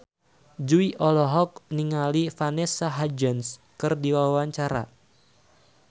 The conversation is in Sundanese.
Jui olohok ningali Vanessa Hudgens keur diwawancara